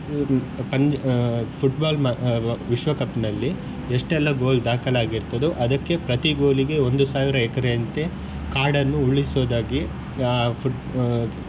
ಪಂದ್ಯ Football ನ ವಿಶ್ವಕಪ್ ನಲ್ಲಿ ಎಷ್ಟೆಲ್ಲ goal ದಾಖಲಾಗಿರ್ತದೋ ಅದಕ್ಕೆ ಪ್ರತಿ goal ಗೆ ಒಂದು ಸಾವಿರ ಎಕರೆಯಂತೆ ಕಾಡನ್ನು ಉಳಿಸುವುದಾಗಿ ಆ foot .